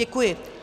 Děkuji.